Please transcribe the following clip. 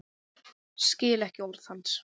Skil ekki orð hans.